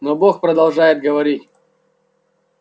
но бог продолжает говорить